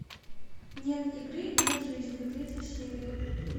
нет игры нет жизни третья серия